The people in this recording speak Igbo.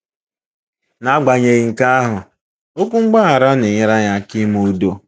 N'agbanyeghị nke ahụ, okwu mgbaghara na-enyere anyị aka ime udo.